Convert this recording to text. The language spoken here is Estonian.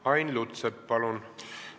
Ain Lutsepp, palun!